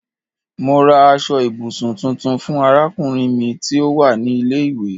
Mo rà aṣọ ibùsùn tuntun fún arákùnrin mi tí ó wà ní ilé ìwé